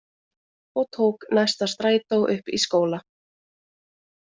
Og tók næsta strætó upp í skóla.